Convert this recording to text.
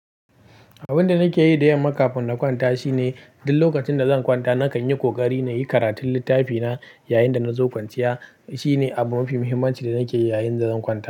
Abin da nake yi don makafin na kwanta shine duk lokacin da zan kwanta, nakan yi ƙoƙari na yi karatun littafina yayin da na zo kwanciya. Shi ne abu mafi muhimmanci da nake yi yayin da zan kwanta.